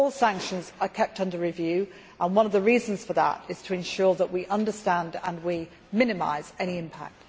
But all sanctions are kept under review and one of the reasons is to ensure that we understand and we minimise any impact.